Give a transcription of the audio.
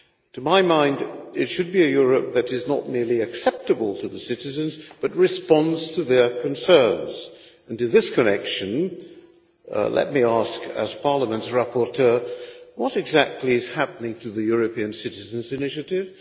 To my mind, it should be a Europe that is not merely acceptable to the citizens, but responds to their concerns, and in this connection let me ask, as Parliament's rapporteur what exactly is happening to the European Citizens' Initiative?